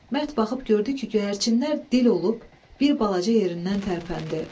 Mərd baxıb gördü ki, göyərçinlər dil olub, bir balaca yerindən tərpəndi.